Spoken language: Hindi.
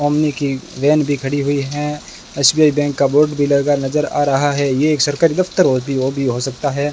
ओमनी की वैन भी खड़ी हुई है एस_बी_आई बैंक का बोर्ड भी लगा नजर आ रहा है ये एक सरकारी दफ्तर भी हो सकता है।